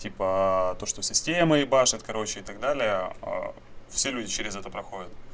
типа то что система ебашит короче и так далее все люди через это проходят